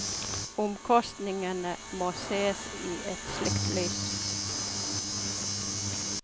Omkostningene må sees i et slikt lys.